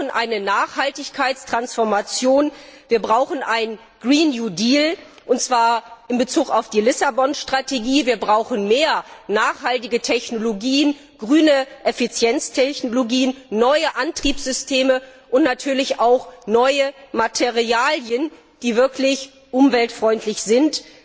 Wir brauchen eine Nachhaltigkeitstransformation, wir brauchen einen Green New Deal und zwar in Bezug auf die Lissabon Strategie, wir brauchen mehr nachhaltige Technologien, grüne Effizienztechnologien, neue Antriebssysteme und natürlich auch neue Materialien, die wirklich umweltfreundlich sind.